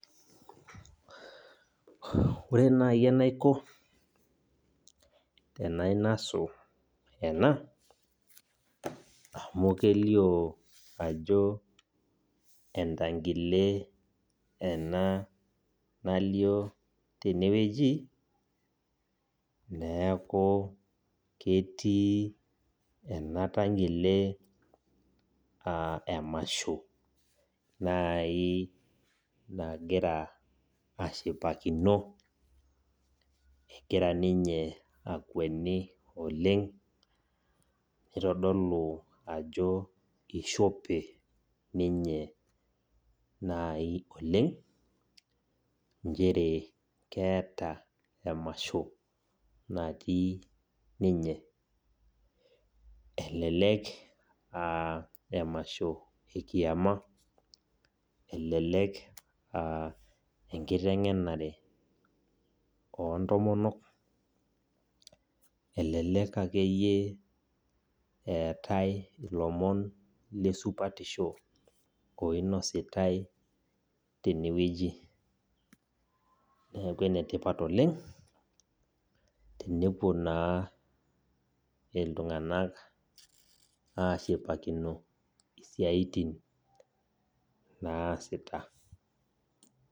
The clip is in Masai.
Ore naaji enaiko tenainosu enaamu kelio ajo entankile ena nalioo tene wueji neaku ketii ena tankile emasho naaji nagira aashipakino. Kegira ninye akweni oleng neitodolu ajo eishope nyinye naaji oleng. Nchere keeta emasho natii ninye. Elelek aah emasho ekiama ashu ninye enkitengenare oontomok ashuu ilomon ake le supatisho. Enetipat teneshipakino iltunganak isiatin naasita